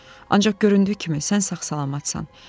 Ancaq göründüyü kimi sən sağ-salamatsan.